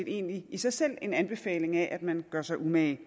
egentlig i sig selv en anbefaling af at man gør sig umage